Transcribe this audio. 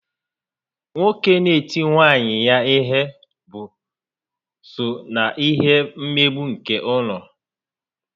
Nwoke n'eti nwunye ya ihe bụ so na ihe mmegbu nke ụlọ